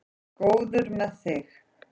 Góður með þig.